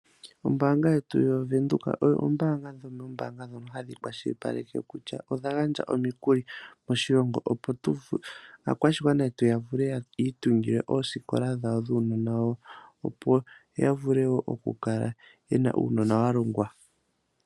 Ombaanga yetu yaVenduka oyo ombaanga yomoombaanga ndhono hadhi kwashilipaleke kutya odha gandja omikuli moshilongo opo aakwashigwana yi itungile oosikola dhawo dhuunona wawo, opo ya vule ya kale ye na uunona wa longwa.